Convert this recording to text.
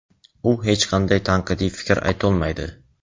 u hech qanday tanqidiy fikr aytolmaydi.